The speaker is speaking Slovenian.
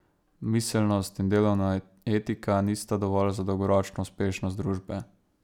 Miselnost in delovna etika nista dovolj za dolgoročno uspešnost družbe.